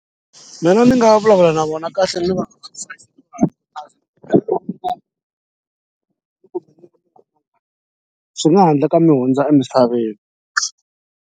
Mina ndzi nga vulavula na vona kahle ni va swi nga handle ka mi hundza emisaveni.